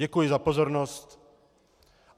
Děkuji za pozornost.